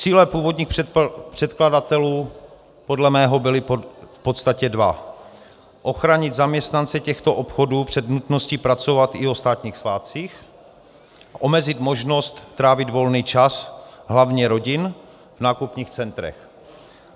Cíle původních předkladatelů podle mého byly v podstatě dva: ochránit zaměstnance těchto obchodů před nutností pracovat i o státních svátcích, omezit možnost trávit volný čas hlavně rodin v nákupních centrech.